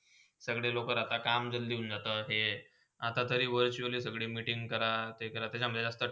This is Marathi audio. सगले लोका राहता काम जलदी होील आता ते, आता ते सगळे meeting करा ते करा.